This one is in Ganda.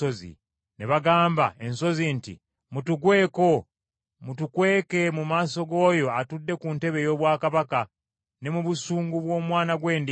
Ne bagamba ensozi nti, “Mutugweko mutukweke mu maaso g’Oyo atudde ku ntebe ey’obwakabaka, ne mu busungu bw’Omwana gw’Endiga.